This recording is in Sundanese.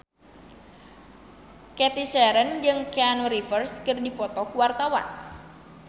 Cathy Sharon jeung Keanu Reeves keur dipoto ku wartawan